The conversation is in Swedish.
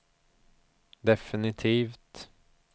definitivt